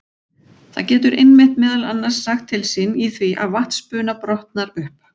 Það getur einmitt meðal annars sagt til sín í því að vatnsbuna brotnar upp.